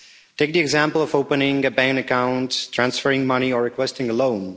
Take the example of opening a bank account, transferring money or requesting a loan.